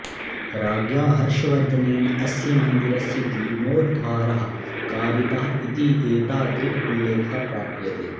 राज्ञा हर्षवर्धनेन अस्य मन्दिरस्य जीर्णोद्धारः कारितः इति एतादृक् उल्लेखः प्राप्यते